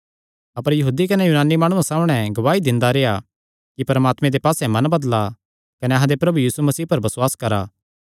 अपर यहूदी कने यूनानी माणुआं सामणै गवाही दिंदा रेह्आ कि परमात्मे दे पास्से मन बदला कने अहां दे प्रभु यीशु मसीह पर बसुआस करा